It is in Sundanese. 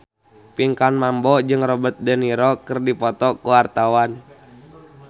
Pinkan Mambo jeung Robert de Niro keur dipoto ku wartawan